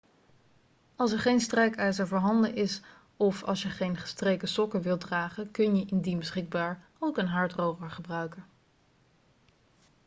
als er geen strijkijzer voorhanden is of als je geen gestreken sokken wilt dragen kun je indien beschikbaar ook een haardroger gebruiken